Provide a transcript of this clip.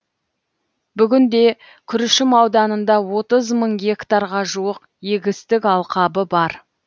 бүгінде күршім ауданында отыз мың гектарға жуық егістік алқабы бар